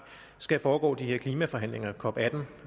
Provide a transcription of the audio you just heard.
skal foregå de her klimaforhandlinger cop atten